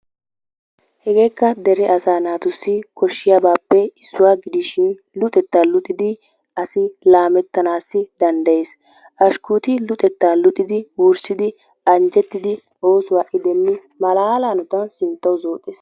Hegeekka dere asaa naatussi koshshiyaabappe issuwaa gidishin luxettaa luxxidi asi laammettanaasi danddayees. Ashkuuti luxettaa luxxidi wurssidi anjjettidi oosuwaa ha"i deemmi malaala hanottaan sinttwu zooxxees.